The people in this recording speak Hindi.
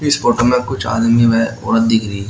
इस फोटो में कुछ आदमी व औरत दिख रही--